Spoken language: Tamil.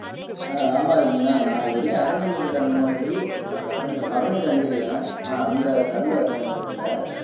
ஆஹ் ஆமா ரஞ்சனா நான் இது வரைக்கும் அருந்தினது இல்லை அந்த மாதிரி அதை அருந்த பதநீர் அருந்திருக்கேன் ஆனா அந்த கள் அருந்துனது இல்லை